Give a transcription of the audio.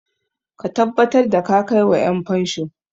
Ka tabbatar da ka kai wa 'yanfansho!